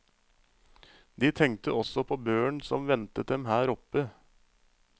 De tenkte også på børen som ventet dem her oppe.